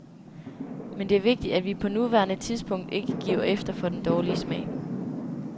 Men det er vigtigt at vi på nuværende tidspunkt ikke giver efter for den dårlige smag.